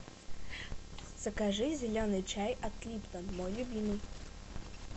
закажи зеленый чай от липтон мой любимый